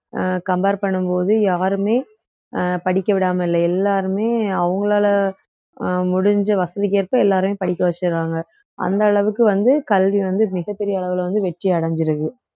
அஹ் compare பண்ணும் போது யாருமே அஹ் படிக்க விடாம இல்ல எல்லாருமே அவங்களால அஹ் முடிஞ்ச வசதிக்கேற்ப எல்லாரையும் படிக்க வச்சிடுறாங்க அந்த அளவுக்கு வந்து கல்வி வந்து மிகப் பெரிய அளவுல வந்து வெற்றி அடைஞ்சிருக்கு